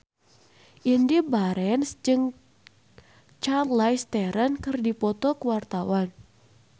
Indy Barens jeung Charlize Theron keur dipoto ku wartawan